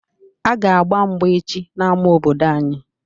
A ga agba mgba echi n'ámá obodo anyị